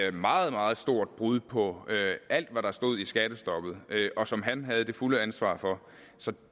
et meget meget stort brud på alt hvad der stod i skattestoppet og som han havde det fulde ansvar for så